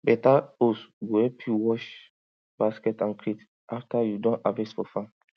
better hosepipe go help you wash basket and crate after you don harvest for farm